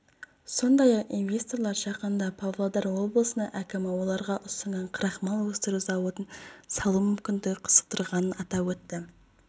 сондай-ақ инвесторлар жақында павлодар облысының әкімі оларға ұсынған крахмал өсіру зауытын салу мүмкіндігі қызықтырғанын атап өтті